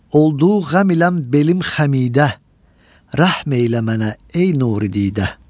Oldu qəm ilə məm belim xəmidə, rəhm eylə mənə, ey nuri didə.